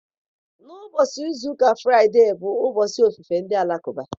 Ná ụbọchị izu ụka Fraide bụ ụbọchị ofufe ndị Alakụba.